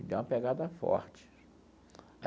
Me deu uma pegada forte.